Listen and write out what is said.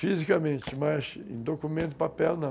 Fisicamente, mas em documento, papel, não.